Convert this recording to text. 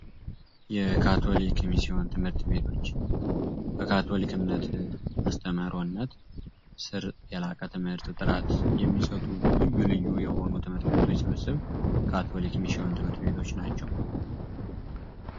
የካቶሊክ ሚሲዮን ትምህርት ቤቶች በካቶሊክ እምነት አስተምሮነት ስር የላቀ ት/ት ጥራት እሚሰጡ ልዩ ልዩ የሆኑ ት/ት ቤቶች ስብስብ ካቶሊክ ሚሽዮን ትምህርት ቤቶች ናቸዉ።